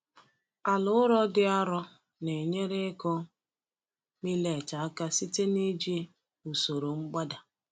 Ala ụrọ dị arọ na-enyere ịkụ millet aka site n’iji usoro mgbada.